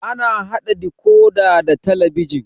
Ana haɗa dikodi da talabijin